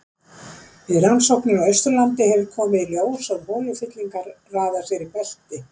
Við rannsóknir á Austurlandi hefur komið í ljós að holufyllingar raða sér í belti.